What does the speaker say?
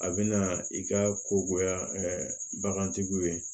A bɛna i ka ko goya bagantigiw ye